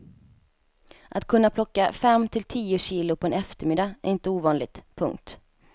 Att kunna plocka fem till tio kilo på en eftermiddag är inte ovanligt. punkt